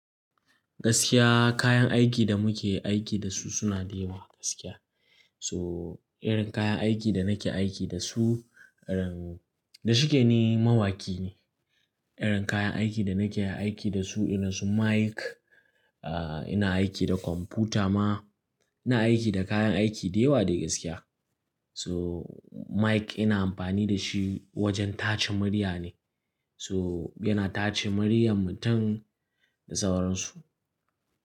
Gaskiya kayan aikin da muke aiki da su suna da yawa gaskiya. So irin kayan aikin da nake aiki da su, irin, da shike ni mawaƙi ne. Irin kayan aiki da nake aiki da su irin su mic, ah ina aiki da kwamfuta ma, ina aiki da kayan aiki da yawa dai gaskiya. So mic ina amfani da shi wajen tace murya ne. To yana tace muryan mutum da sauransu.